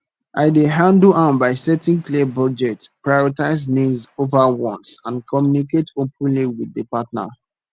i dey handle am by setting clear budget prioritize needs over wants and communicate openly with di partner